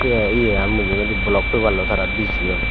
tey yegan mujungedi blok peparloi tara bijeyon.